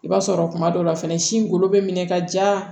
I b'a sɔrɔ kuma dɔ la fɛnɛ sin golo bɛ minɛ ka ja